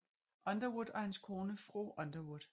Underwood og hans kone fru Underwood